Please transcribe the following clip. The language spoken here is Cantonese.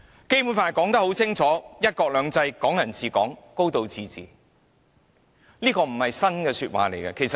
《基本法》清楚訂明"一國兩制"、"港人治港"、"高度自治"，這些亦非新鮮說法。